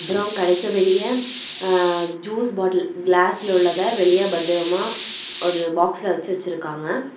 அப்ரோ கடைக்கு வெளிய அஅஅ ஜூஸ் பாட்டில் கிளாஸ்ல உள்ளத வெளிய பத்திரமா ஒரு பாக்ஸ்ல வெச்சு வெச்சுருக்காங்க.